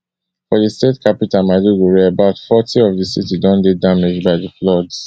for di state capital maiduguri about forty of di city don dey damaged by di floods